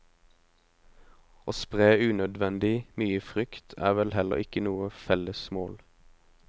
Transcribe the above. Å spre unødvendig mye frykt er vel heller ikke noe felles mål.